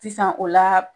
Sisan o la